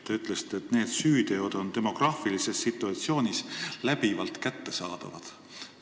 Te ütlesite, et need süüteod on demograafilises situatsioonis läbivalt kättesaadavad.